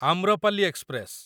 Amrapali express